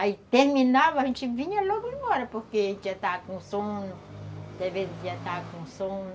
Aí terminava, a gente vinha logo embora, porque a gente já estava com sono, talvez já estava com sono.